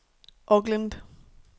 Auckland